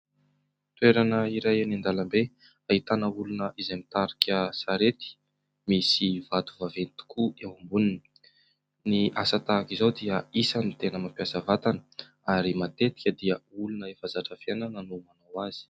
Toerana iray eny an-dalambe ahitana olona izay mitarika sarety, misy vato vaventy tokoa eo amboniny. Ny asa tahaka izao dia isany tena mampiasa vatana ary matetika dia olona efa zatra fiainana no manao azy.